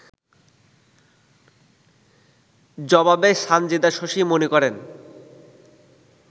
জবাবে সানজিদা শশী মনে করেন